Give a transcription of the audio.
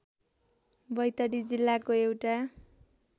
बैतडी जिल्लाको एउटा